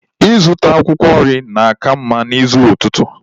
Ịzụta akwụkwọ nri na-aka mma n'ụzọ ụtụtụ.